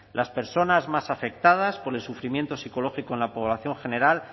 las personas más afectadas por el sufrimiento psicológico en la población general